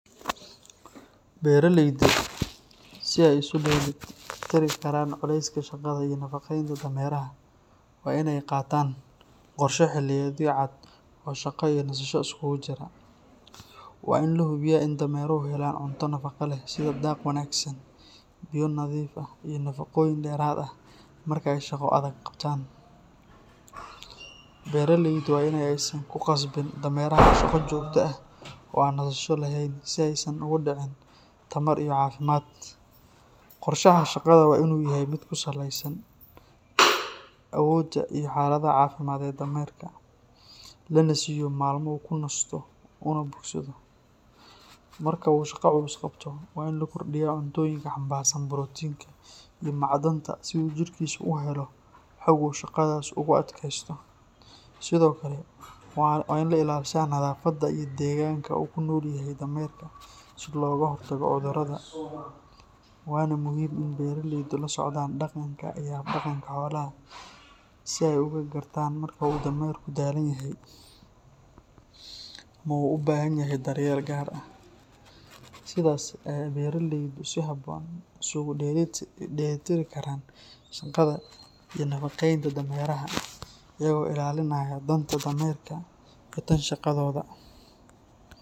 Beraleeydu si ay isu dheelitiri karaan culayska shaqada iyo nafaqeynta dameraha waa in ay qaataan qorshe xilliyeedyo cad oo shaqo iyo nasasho iskugu jira. Waa in la hubiyaa in dameruhu helaan cunto nafaqo leh sida daaq wanaagsan, biyo nadiif ah iyo nafaqooyin dheeraad ah marka ay shaqo adag qabtaan. Beraleydu waa in aysan ku khasbin dameraha shaqo joogto ah oo aan nasasho lahayn, si aysan uga dhicin tamar iyo caafimaad. Qorshaha shaqada waa in uu yahay mid ku saleysan awoodda iyo xaaladda caafimaad ee dameerka, lana siiyo maalmo uu ku nasto una bogsado. Marka uu shaqo culus qabto, waa in la kordhiyaa cuntooyinka xambaarsan borotiinka iyo macdanta si uu jidhkiisu u helo xoog uu shaqadaas ugu adkeysto. Sidoo kale, waa in la ilaalshaa nadaafadda iyo deegaanka uu ku noolyahay dameerka si looga hortago cudurrada, waana muhiim in beraleydu la socdaan dhaqanka iyo hab-dhaqanka xoolaha si ay uga gartaan marka uu dameerku daalan yahay ama u baahan yahay daryeel gaar ah. Sidaas ayay beraleydu si habboon isugu dheelitiri karaan shaqada iyo nafaqeynta dameraha, iyaga oo ilaalinaya danta dameerka iyo tan shaqadooda.